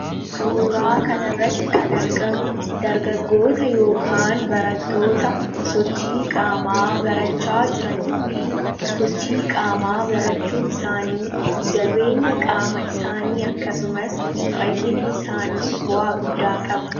suuraa kanirratti kan argamu dargagoota ykn baratoota sochii qaamaa barachaa jiranii fi sochii qaamaa barachuun isaanii jabeenya qaama isaanii akkasumas fayyina isaaniif bo'a guddaa qaba